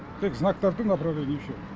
тек знактар тұр направление и все